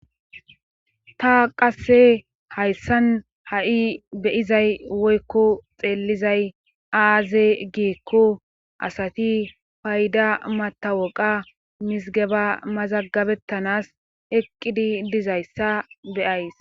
Ta qasse hayssan ha'i beyizay woykko xeellizay aaze giekko asati payda matawoqa misgeba mazagabettanas eqqidi dizayssa beyays.